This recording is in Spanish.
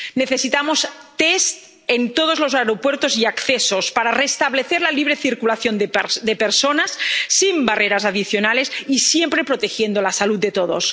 Necesitamos test en todos los aeropuertos y accesos para restablecer la libre circulación de personas, sin barreras adicionales y siempre protegiendo la salud de todos.